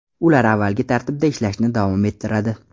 Ular avvalgi tartibda ishlashni davom ettiradi.